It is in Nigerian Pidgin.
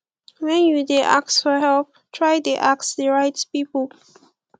when you de ask for help try de ask the right pipo